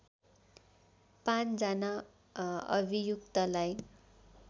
५ जना अभियुक्तलाई